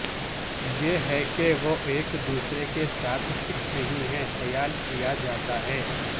یہ ہے کہ وہ ایک دوسرے کے ساتھ فٹ نہیں ہے خیال کیا جاتا ہے